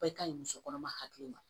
Bɛɛ ka ɲi muso kɔnɔma hakili ma